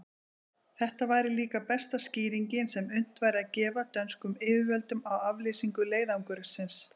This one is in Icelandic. Þetta væri líka besta skýringin, sem unnt væri að gefa dönskum yfirvöldum á aflýsingu leiðangursins.